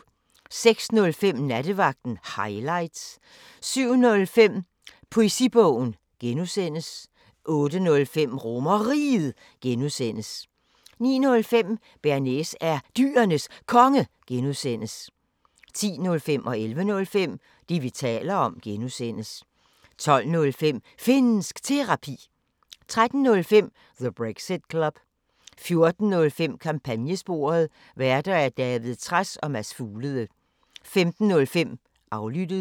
06:05: Nattevagten Highlights 07:05: Poesibogen (G) 08:05: RomerRiget (G) 09:05: Bearnaise er Dyrenes Konge (G) 10:05: Det, vi taler om (G) 11:05: Det, vi taler om (G) 12:05: Finnsk Terapi 13:05: The Brexit Club 14:05: Kampagnesporet: Værter: David Trads og Mads Fuglede 15:05: Aflyttet